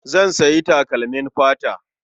Zan sayi takalmin fata.